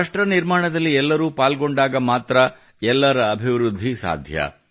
ರಾಷ್ಟ್ರ ನಿರ್ಮಾಣದಲ್ಲಿ ಎಲ್ಲರೂ ಪಾಲ್ಗೊಂಡಾಗ ಮಾತ್ರ ಎಲ್ಲರ ಅಭಿವೃದ್ಧಿ ಸಾಧ್ಯ